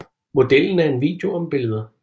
Modellen er en video om billeder